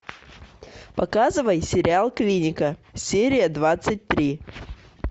показывай сериал клиника серия двадцать три